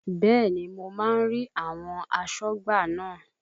Bẹ́ẹ̀ni, mo máa ń rí àwọn asọ́gbà náà